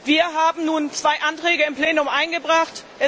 Wir haben nun zwei Anträge im Plenum eingebracht.